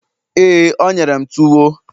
éè, o nyere m tuwo